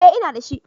eh ina da shi